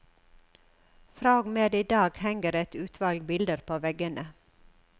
Fra og med i dag henger et utvalg bilder på veggene.